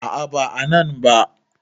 A`a ba a nan ba